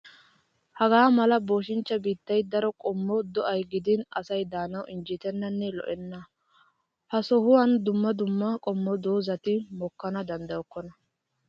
Hagaa mala boshinchcha biittayi daro qommo do''ayi gidin asai daanawu injjetennanne lo''enna. Ha sohuwaan dumma dumma qommo doozati mokkana danddayokkona.